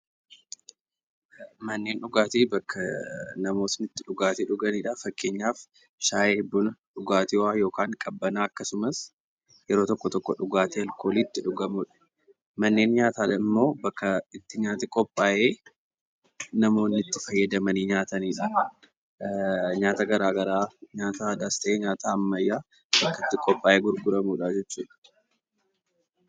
Manni dhugaatii bakka namoonni itti dhugaatii itti dhuganidha. Fakkeenyaaf shaayii buna dhugaatiiwwan qabbanaa'aa akkasumas yeroo tokko tokko alkoolii itti dhugamudha. Manneen nyaataa immoo bakka nyaati qophaayee namoonni itti fayyadamanii nyaatanidha. Nyaata garaagaraa nyaata aadaas ta'ee kan ammayyaa qophaayee gurguramudha.